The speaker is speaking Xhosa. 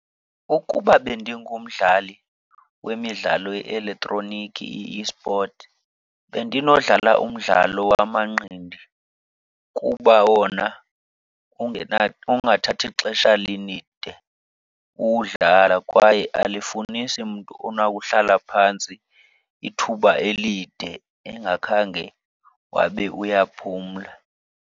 Ukuba bendingumdlali wemidlalo ye-elektroniki, i-esport, bendinodlala umdlalo wamanqindi kuba wona ungathathi xesha lide uwudlala kwaye alifunisi mntu onakuhlala phantsi ithuba elide engakhange wabe uyaphumla.